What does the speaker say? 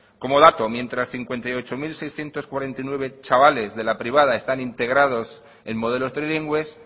como dato mientras cincuenta y ocho mil seiscientos cuarenta y nueve chavales de la privada están integrados en modelos trilingües